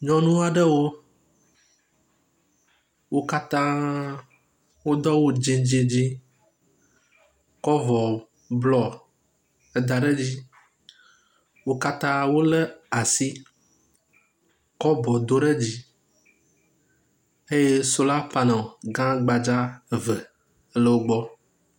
Nyɔnu aɖewo wo katã wodo awu dzɛ̃ dzɛ̃ dzɛ̃ kɔ avɔ blɔ eda ɖe dzi. Wo katã wolé asi kɔ bɔ do ɖe dzi eye sola paneli gã gbadza eve le wogbɔ.